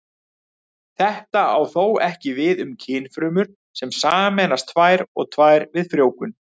Þetta á þó ekki við um kynfrumur sem sameinast tvær og tvær við frjóvgun.